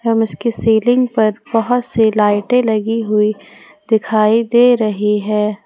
इसकी सीलिंग पर बहुत से लाइटें लगी हुई दिखाई दे रही है।